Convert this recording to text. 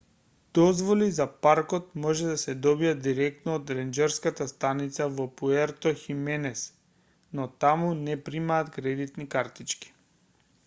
дозволи за паркот може да се добијат директно од ренџерската станица во пуерто хименес но таму не примаат кредитни картички